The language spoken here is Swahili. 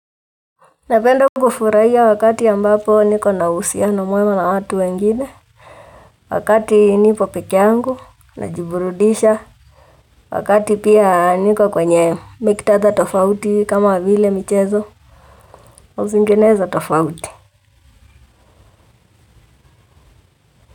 Napenda kufurahia wakati ambapo niko na uhusiano mwema na watu wengine, wakati nipo peke yangu, najiburudisha, wakati pia niko kwenye miktadha tofauti kama vile michezo, na zingenezo tofauti.